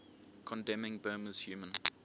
condemning burma's human